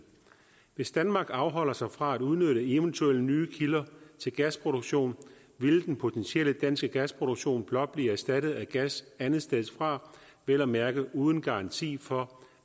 hvis danmark afholder sig fra at udnytte eventuelle nye kilder til gasproduktion vil den potentielle danske gasproduktion blot blive erstattet af gas andetsteds fra vel at mærke uden garanti for